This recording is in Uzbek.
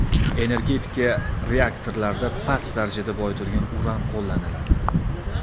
Energetika reaktorlarida past darajada boyitilgan uran qo‘llaniladi.